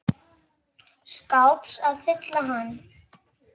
skáps að fylla hann.